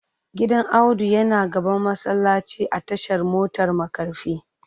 Gidan Audu yana gaban masallaci a tashar motar markafi